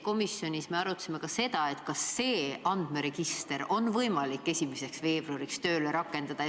Komisjonis me arutasime ka seda, kas see andmeregister on võimalik 1. veebruariks tööle rakendada.